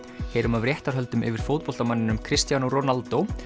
heyrum af réttarhöldum yfir fótboltamanninum Cristiano Ronaldo